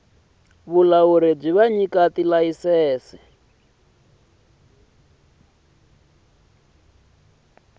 vulawuri bya vanyiki va tilayisense